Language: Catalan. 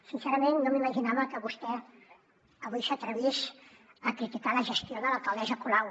sincerament no m’imaginava que vostè avui s’atrevís a criticar la gestió de l’alcaldessa colau